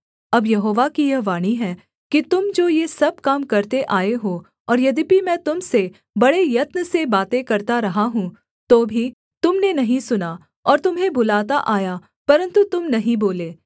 अब यहोवा की यह वाणी है कि तुम जो ये सब काम करते आए हो और यद्यपि मैं तुम से बड़े यत्न से बातें करता रहा हूँ तो भी तुम ने नहीं सुना और तुम्हें बुलाता आया परन्तु तुम नहीं बोले